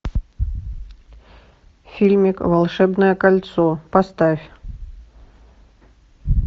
фильмик волшебное кольцо поставь